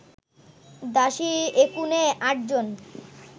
দাসী একুনে আটজন